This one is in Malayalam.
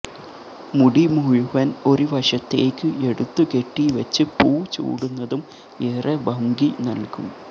മുടി മുഴുവൻ ഒരു വശത്തേയ്ക്ക് എടുത്ത് കെട്ടി വെച്ച് പൂ ചൂടുന്നതും ഏറെ ഭംഗി നൽകും